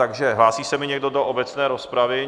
Takže hlásí se mi někdo do obecné rozpravy?